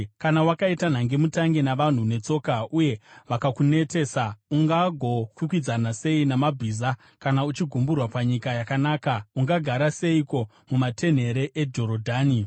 “Kana wakaita nhangemutange navanhu netsoka, uye vakakunetesa ungagokwikwidzana sei namabhiza? Kana uchigumburwa panyika yakanaka, ungagara seiko mumatenhere eJorodhani?